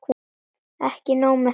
Ekki nóg með það.